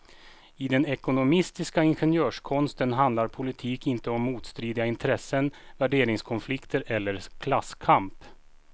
I den ekonomistiska ingenjörskonsten handlar politik inte om motstridiga intressen, värderingskonflikter eller klasskamp.